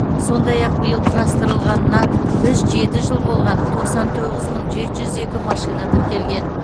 сондай ақ биыл құрастырылғанына үш жеті жыл болған тоқсан тоғыз мың жеті жүз екі машина тіркелген